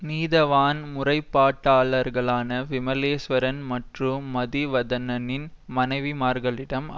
நீதவான் முறைப்பாட்டாளர்களான விமலேஸ்வரன் மற்றும் மதிவதனனின் மனைவிமார்களிடம்